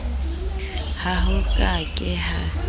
ha ho ka ke ha